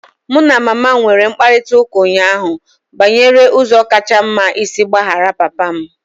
Mụ na mama m nwere mkparịta ụka ụnyaahụ banyere ụzọ kacha mma isi gbaghara papa m.